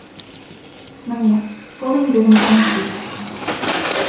міне сол еңбегім бүгін жүзеге асты